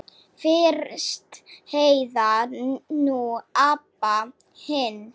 Fyrst Heiða, nú Abba hin.